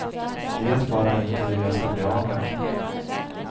Vet bara inte hur jag skall bli av med dem.